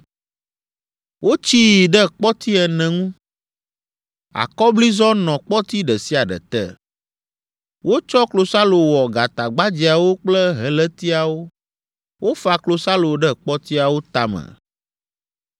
Wotsii ɖe kpɔti ene ŋu. Akɔblizɔ nɔ kpɔti ɖe sia ɖe te. Wotsɔ klosalo wɔ gatagbadzɛawo kple helétiawo. Wofa klosalo ɖe kpɔtiawo tame.